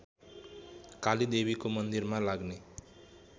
कालीदेवीको मन्दिरमा लाग्ने